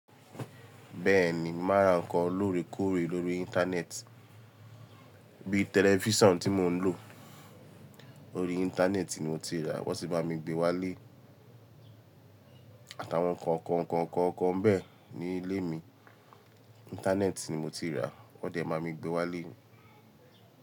Bẹ́ẹ̀ni, màá ra nnkan lórekóore lórí Íńtánẹ́ẹ̀tì. Bí i tẹlifísàn tí mò ń lò, orí Íńtánẹ́ẹ̀tì ni mo ti rà wọ́n sì bá mi gbé wálé, àtàwọn kọ̀ọ̀kan kọ̀ọ̀kan kọ̀ọ̀kan bẹ́ẹ̀ ní ilé mi. Íńtánẹ́ẹ̀tì ni mo ti rà, wọ́n dẹ̀ bá mi gbé wálé.